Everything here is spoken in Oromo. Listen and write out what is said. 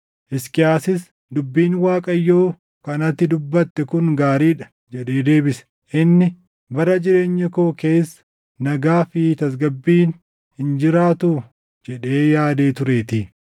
Hisqiyaasis, “Dubbiin Waaqayyoo kan ati dubbatte kun gaarii dha” jedhee deebise. Inni, “Bara jireenya koo keessa nagaa fi tasgabbiin hin jiraatuu?” jedhee yaadee tureetii.